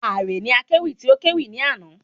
Ààre ni akéwì tí o kẹ́wì ní àná